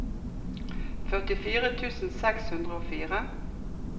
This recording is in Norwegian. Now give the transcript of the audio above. førtifire tusen seks hundre og fire